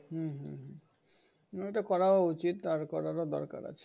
হম এটা করা উচিত আর করার ও দরকার আছে।